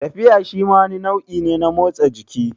Tafiya shima wani nau'i ne na motsa jiki